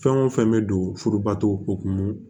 Fɛn o fɛn bɛ don furubatokumu